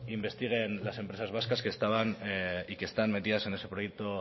investiguen las empresas vascas que estaban y que están metidas en ese proyecto